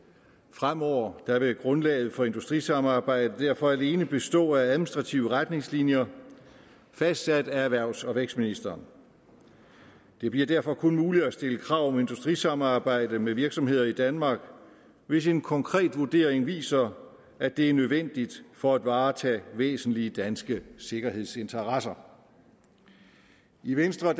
fremover vil grundlaget for industrisamarbejdet derfor alene bestå af administrative retningslinjer fastsat af erhvervs og vækstministeren det bliver derfor kun muligt at stille krav om industrisamarbejde med virksomheder i danmark hvis en konkret vurdering viser at det er nødvendigt for at varetage væsentlige danske sikkerhedsinteresser i venstre